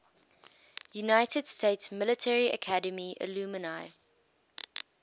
united states military academy alumni